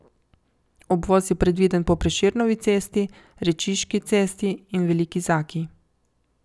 Obvoz je predviden po Prešernovi cesti, Rečiški cesti in Veliki Zaki.